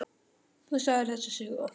Þú sagðir þessa sögu oft.